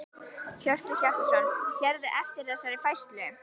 Hjörtur Hjartarson: Sérðu eftir þessari færslu?